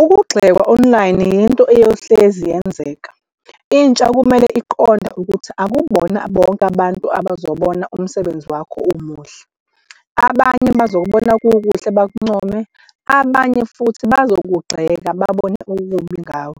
Ukugxekwa online yinto eyohlezi yenzeka intsha kumele iqonde ukuthi akubona bonke abantu abazobona umsebenzi wakho umuhle. Abanye bazokubona kukuhle, bakuncome abanye futhi bazokugxeka babone okubi ngawo.